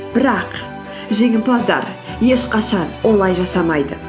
бірақ жеңімпаздар ешқашан олай жасамайды